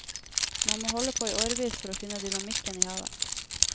Man må holde på i årevis for å finne dynamikken i havet.